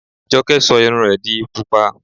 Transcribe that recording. Jọkẹ́ sọ irun rẹ di Pupa.